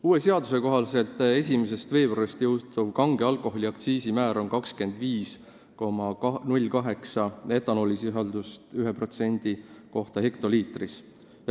Uue seaduse kohaselt on 1. veebruarist jõustuv kange alkoholi aktsiisimäär 25,08 eurot etanoolisisalduse ühe mahuprotsendi kohta hektoliitris.